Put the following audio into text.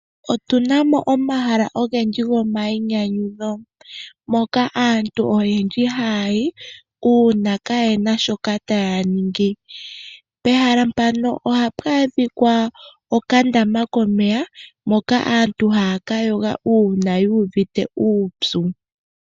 Otu na mo omahala ogendji gomainyanyudho moka aantu oyendji ha ya yi uuna ka ye na shoka ta ya ningi. Pehala mpano oha pu adhika okandama komeya, moka aantu ha ya ka yoga uuna yu uvite uupyu.